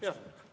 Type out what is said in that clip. Jah.